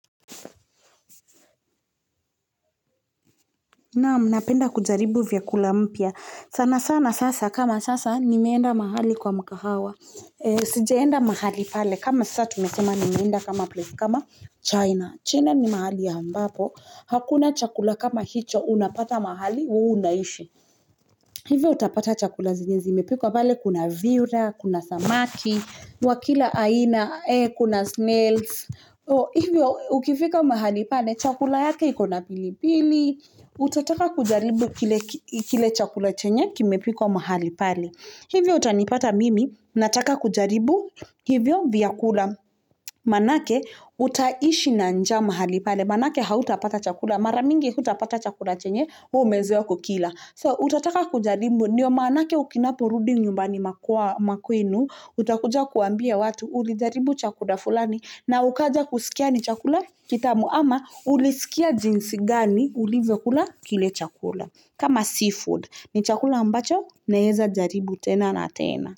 Naam, napenda kujaribu vyakula mpya. Sana sana sasa, kama sasa, nimeenda mahali kwa mkahawa. Sijeenda mahali pale, kama sasa, tumesema nimeenda kama place, kama China. China ni mahali ya ambapo. Hakuna chakula kama hicho, unapata mahali, huwa unaishi. Hivyo utapata chakula zenye. Zimepikwa pale, kuna viura, kuna samaki, wakila aina, kuna snails. O hivyo ukifika mahali pale, chakula yake ikona pilipili, utataka kujaribu kile chakula chenye kimepikwa mahali pale. Hivyo utanipata mimi, nataka kujaribu hivyo vyakula. Manake utaishi na njaa mahali pale, maanake hautapata chakula, mara mingi hutapata chakula chenye, umezeo kukila. So utataka kujaribu, ndio maanake ukinapo rudi nyumbani makwenu, utakuja kuambia watu, ulijaribu chakula fulani. Na ukaja kusikia ni chakula kitamu ama ulisikia jinsi gani ulivyokula kile chakula. Kama seafood ni chakula ambacho naeza jaribu tena na tena.